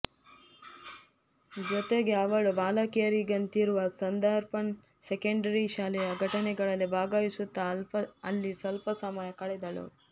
ಜೊತೆಗೆ ಅವಳು ಬಾಲಕಿಯರಿಗಂತಿರುವ ನಾರ್ಧಾಂಪ್ಟನ್ ಸೆಕೆಂಡರಿ ಶಾಲೆಯ ಘಟನೆಗಳಲ್ಲಿ ಭಾಗವಹಿಸುತ್ತ ಅಲ್ಲಿ ಸ್ವಲ್ಪ ಸಮಯ ಕಳೆದಳು